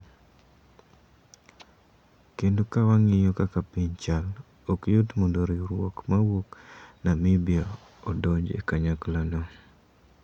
Kendo ka wang'iyo kaka piny chal, ok yot mondo riwruok mawuok Namibia odonj e kanyaklano.